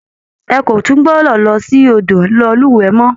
Ẹ kò tún gbọdọ̀ lọ sí odò lọ lúwẹ̀ẹ́ mọ́!